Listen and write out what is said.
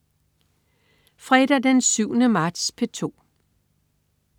Fredag den 7. marts - P2: